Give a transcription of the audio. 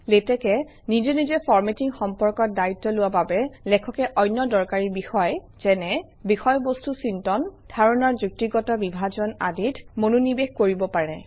লেটেক্সে নিজে নিজে ফৰমেটিং সম্পৰ্কত দায়িত্ব লোৱা বাবে লেখকে অন্য দৰকাৰী বিষয় যেনে - বিষয়বস্তু চিন্তন ধাৰণাৰ যুক্তিগত বিভাজন আদিত মনোনিৱেশ কৰিব পাৰে